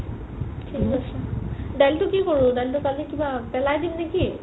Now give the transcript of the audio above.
থিক আছে দালিটো কি কৰো দালিটো কালি কিবা পেলাই দিম নেকি?